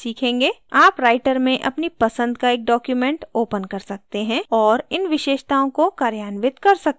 आप writer में अपनी पसंद का एक document open कर सकते हैं और इन विशेषताओं को कार्यान्वित कर सकते हैं